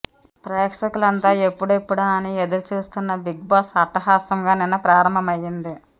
ప్రేక్షకులంతా ఎప్పుడెప్పుడా అని ఎదురు చూస్తున్న బిగ్ బాస్ అట్టహాసంగా నిన్న ప్రారంభమయింది